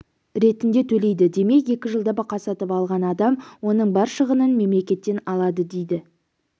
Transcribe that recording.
ретінде төлейді демек екі жылда бұқа сатып алған адам оның бар шығынын мемлекеттен алады дейді